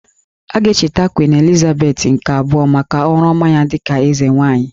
A ga-echeta Queen Elizabeth nke abụọ maka ọrụ ọma ya dịka eze nwaanyị